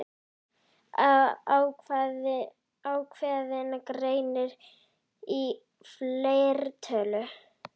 Ákveðinn greinir í fleirtölu.